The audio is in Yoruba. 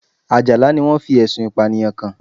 Àjàlá ni wọ́n fi Ẹ̀sùn Ìpànìyàn kàn